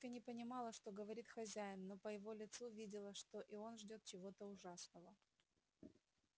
тётка не понимала что говорит хозяин но по его лицу видела что и он ждёт чего-то ужасного